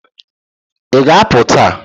Ị ga-apụ taa?